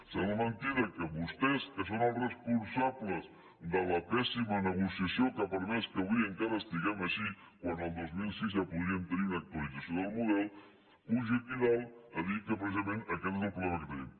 sembla mentida que vostès que són els responsables de la pèssima negociació que ha permès que avui encara estiguem així quan el dos mil sis ja podíem tenir una actualització del model pugin aquí dalt a dir que precisament aquest és el problema que tenim